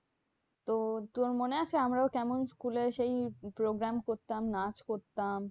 তো তোর মনে আছে? আমরাও কেমন school এ সেই program করতাম, নাচ করতাম?